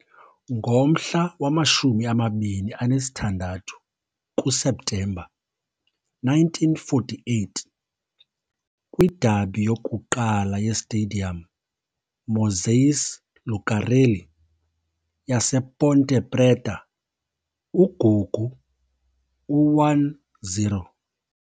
Ngomhla wama-26 kuSeptemba 1948, kwi-derby yokuqala ye-Stadium Moisés Lucarelli yasePonte Preta, uGugu u-1-0.